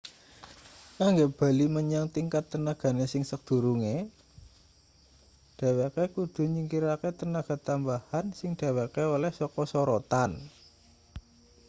kanggo bali menyang tingkat tenagane sing sakdurunge dhweke kudu nyingkirake tenaga tambahan sing dheweke oleh saka sorotan